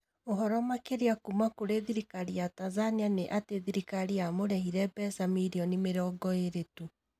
Ũhoro makĩrianĩ kuuma kũrĩ thirikari ya Tanzania nĩ atĩ thirikari yamũrĩhire mbeca milioni 20 tu